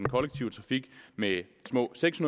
kollektive trafik med små seks